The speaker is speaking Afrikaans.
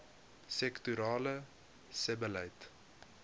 sektorale sebbeleid